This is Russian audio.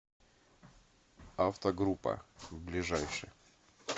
автогруппа ближайший